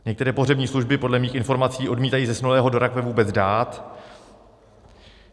Některé pohřební služby podle mých informací odmítají zesnulého do rakve vůbec dát.